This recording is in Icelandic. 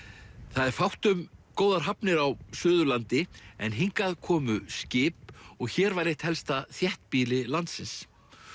það er fátt um góðar hafnir á Suðurlandi en hingað komu skip og hér var eitt helsta þéttbýli landsins